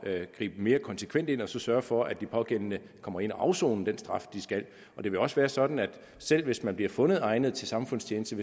at gribe mere konsekvent ind og sørge for at de pågældende kommer ind at afsone den straf de skal og det vil også være sådan selv hvis man bliver fundet egnet til samfundstjeneste